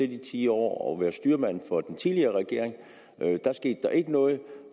i ti år og været styrmand for den tidligere regering der skete der ikke noget